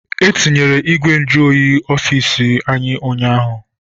Etinyere ìgwè ntụ oyi n'ofici anyị ụnyaahụ.